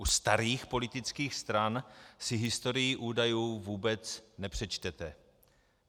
U starých politických stran si historii údajů vůbec nepřečtete.